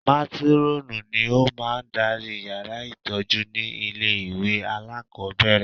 Mátírọ́ọ̀nù ni ó máa ń darí yàrá ìtọ́jú ní ilé ìwé alákọ̀ọ́bẹ̀rẹ̀